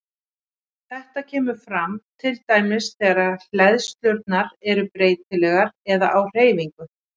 Þetta kemur fram til dæmis þegar hleðslurnar eru breytilegar eða á hreyfingu.